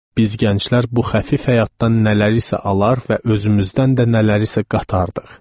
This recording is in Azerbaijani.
Biz gənclər bu xəfif həyatdan nələrisə alar və özümüzdən də nələrisə qatardıq.